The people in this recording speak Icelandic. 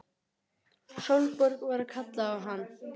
Káinn, spilaðu lagið „Kaupmaðurinn á horninu“.